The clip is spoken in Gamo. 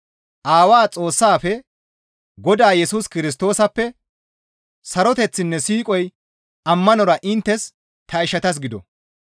Aawaa Xoossaafe, Godaa Yesus Kirstoosappe saroteththinne siiqoy ammanora inttes ta ishatas gido.